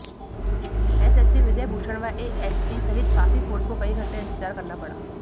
SSP Vijay Bhushan व ASP सहित काफी फ़ोर्स को कई घण्टे इंतजार करना पड़ा